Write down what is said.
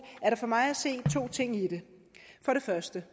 er der for mig at se to ting i det for det første